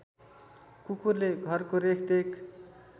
कुकुरले घरको रेखदेख